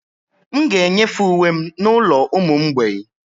M ga-enyefe uwe m n'ụlọ ụmụ mgbei